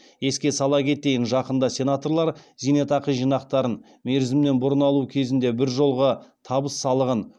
еске сала кетейін жақында сенаторлар зейнетақы жинақтарын мерзімінен бұрын алу кезінде біржолғы табыс салығын